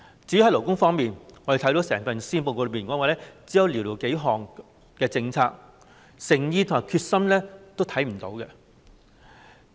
至於勞工方面，我們看到整份施政報告只有寥寥數項政策，誠意和決心欠奉。